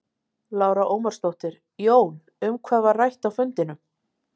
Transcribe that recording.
Lára Ómarsdóttir: Jón, um hvað var rætt á fundinum?